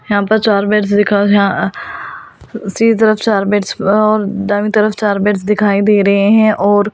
यहां पर चार बेड्स दिखा सी तरफ चार बेड्स और दाईं तरफ चार बेड्स दिखाई दे रहे हैं और--